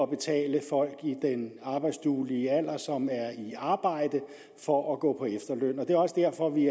betale folk i den arbejdsduelige alder som er i arbejde for at gå på efterløn det er også derfor vi